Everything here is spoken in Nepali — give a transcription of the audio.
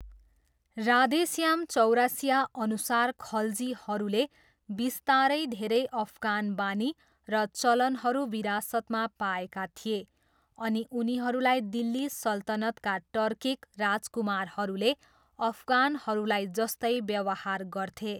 राधे श्याम चौरसियाअनुसार, खल्जीहरूले बिस्तारै धेरै अफगान बानी र चलनहरू विरासतमा पाएका थिए, अनि उनीहरूलाई दिल्ली सल्तनतका टर्किक राजकुमारहरूले अफगानहरूलाई जस्तै व्यवहार गर्थे।